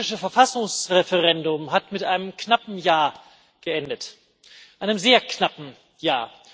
Das türkische Verfassungsreferendum hat mit einem knappen Ja geendet einem sehr knappen Ja.